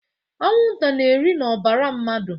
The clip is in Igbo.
Anwụnta na-eri n'ọbara mmadụ.